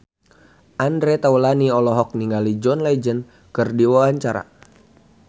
Andre Taulany olohok ningali John Legend keur diwawancara